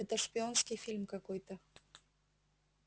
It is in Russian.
это шпионский фильм какой-то